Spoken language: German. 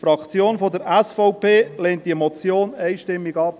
Die Fraktion der SVP lehnt diese Motion einstimmig ab.